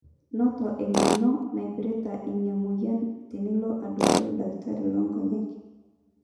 noto eng'eno naipirta ina mweyian tenilo aduaare oldakitari loonkonyek